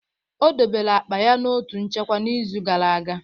O debere akpa ya na otu nchekwa n'izu gara aga.